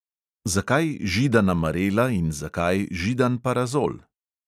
Zakaj židana marela in zakaj židan parazol?